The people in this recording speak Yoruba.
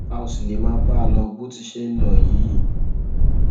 a ò sì lè máa bá a lọ bó ti ṣe ń lọ yìí